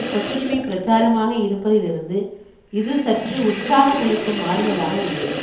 கொத்தடிமை பிரச்சாரமாக இருப்பதிலிருந்து இது சற்று உற்சாகமளிக்கும் மாறுதலாக உள்ளது